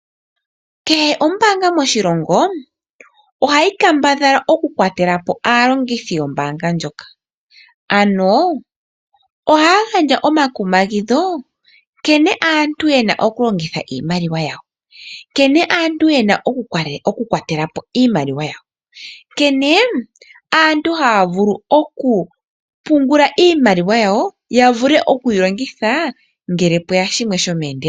Kehe ombaanga moshilongo, ohayi kambadhala okukwatela po aalongithi yombaanga ndjoka. Ohaya gandja omakumagidho nkene aantu ye na okulongitha iimmaliwa yawo, nkene aantu ye na okukwatela po iimaliwa yawo, nkene aantu haya vulu okupungula iimaliwa yawo, ya vule okuyi longitha ngele pwe ya shimwe shomeendelelo.